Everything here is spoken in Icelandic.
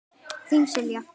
Þín, Silja.